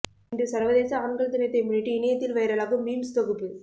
இன்று சர்வதேச ஆண்கள் தினத்தை முன்னிட்டு இணையத்தில் வைரலாகும் மீம்ஸ் தொகுப்பு